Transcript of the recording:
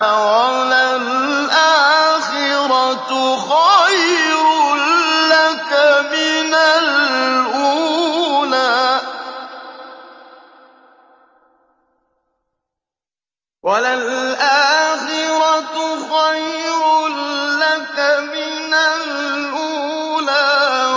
وَلَلْآخِرَةُ خَيْرٌ لَّكَ مِنَ الْأُولَىٰ